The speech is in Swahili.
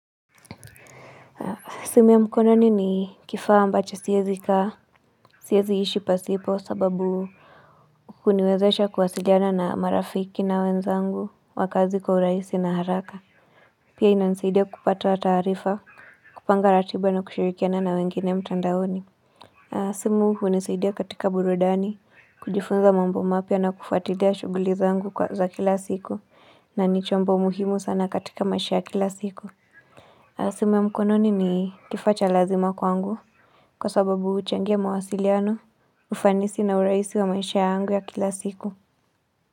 Simu ya mkononi ni kifaa ambacho siezi kaa, siezi ishi pasipo sababu huniwezesha kuwasiliana na marafiki na wenzangu, wa kazi kwa urahisi na haraka. Pia ina nisaidia kupata taarifa, kupanga ratiba na kushirikiana na wengine mtandaoni. Simu hunisaidia katika burudani, kujifunza mambo mapya na kufuatilia shughuli zangu kwa za kila siku, na ni chombo muhimu sana katika maisha ya kila siku. Simu ya mkononi ni kifaa cha lazima kwangu kwa sababu huchangia mawasiliano ufanisi na urahisi wa maisha yangu ya kila siku.